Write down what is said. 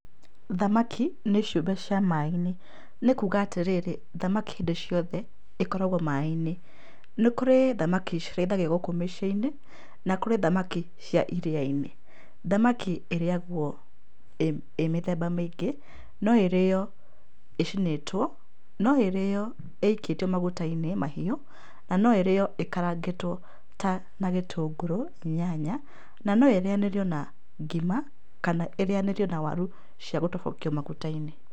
Thamaki nĩ ciũmbe cia maĩ-inĩ, nĩ kuuga atĩrĩrĩ, thamaki hĩndĩ ciothe ĩkoragũo maĩ-inĩ. Nĩ kũrĩ thamaki cirĩithagio gũkũ mĩciĩ-inĩ, na kũrĩ thamaki cia iria-inĩ. Thamaki ĩrĩagũo ĩ mĩthemba mĩingĩ, no ĩrĩo ĩcinĩtwo, no ĩrĩo ĩikĩtio maguta-inĩ mahiũ, na no ĩrĩo ĩkarangĩtwo ta na gĩtũngũrũ, nyanya, na no ĩrĩanĩrio na ngima, kana ĩrĩanĩrio na waru cia gũtobokio maguta-inĩ.